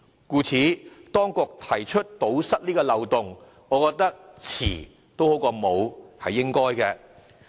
故此，當局提出堵塞這漏洞，我覺得"遲總好過沒有"，實屬應當。